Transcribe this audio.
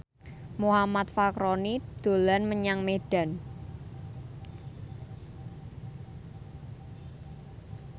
Muhammad Fachroni dolan menyang Medan